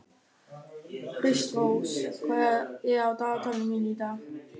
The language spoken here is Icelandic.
Kristrós, hvað er á dagatalinu mínu í dag?